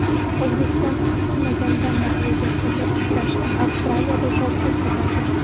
O‘zbekistonning kutilmaganda mag‘lubiyatga uchrashi Avstraliyada shov-shuv ko‘tardi.